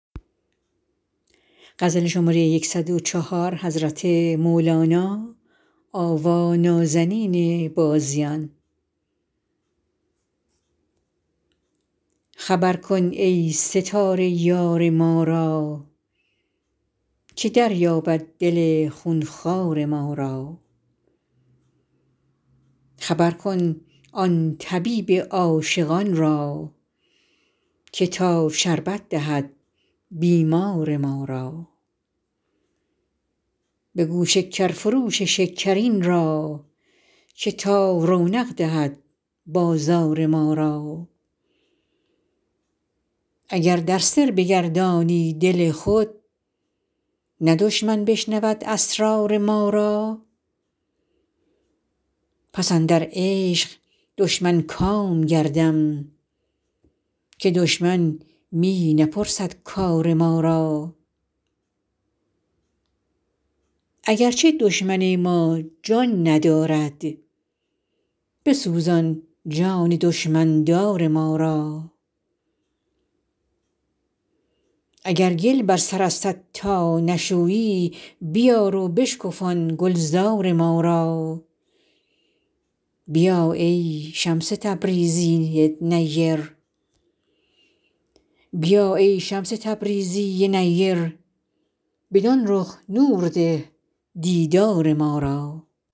خبر کن ای ستاره یار ما را که دریابد دل خون خوار ما را خبر کن آن طبیب عاشقان را که تا شربت دهد بیمار ما را بگو شکرفروش شکرین را که تا رونق دهد بازار ما را اگر در سر بگردانی دل خود نه دشمن بشنود اسرار ما را پس اندر عشق دشمن کام گردم که دشمن می نپرسد کار ما را اگر چه دشمن ما جان ندارد بسوزان جان دشمن دار ما را اگر گل بر سرستت تا نشویی بیار و بشکفان گلزار ما را بیا ای شمس تبریزی نیر بدان رخ نور ده دیدار ما را